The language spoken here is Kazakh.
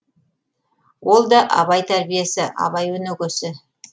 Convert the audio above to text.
ол да абай тәрбиесі абай өнөгөсі